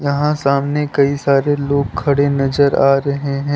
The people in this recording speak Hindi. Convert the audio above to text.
यहाँ सामने कई सारे लोग खड़े नजर आ रहे हैं।